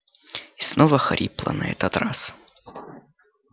и снова хрипло на этот раз